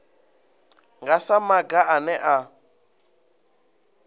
nga sa maga ane a